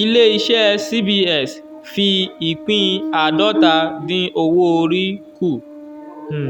ilé-iṣẹ́ cbs fi ìpín àádọ́ta dín owó orí kù. um